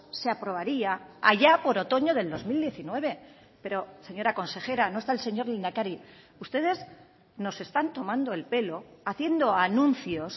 se aprobaría allá por otoño del dos mil diecinueve pero señora consejera no está el señor lehendakari ustedes nos están tomando el pelo haciendo anuncios